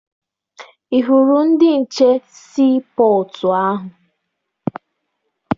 Ị hụrụ ndị nche sii pọtụ ahụ?